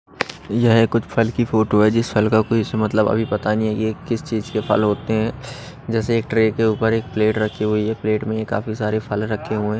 यह कुछ फल की फोटो है जिस फल का कोई ऐसा मतलब अभी पता नहीं है ये किस चीज के फल होते हैं जैसे एक ट्रे के ऊपर एक प्लेट रखी हुई है प्लेट में ही काफी सारे फल रखे हुए हैं।